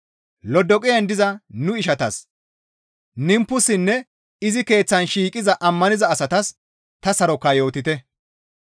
Lodoqiyan diza nu ishatas, Nimpusinne izi keeththan shiiqiza ammaniza asatas ta sarokaa yootite.